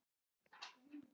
Áköf rödd sagði: Halló?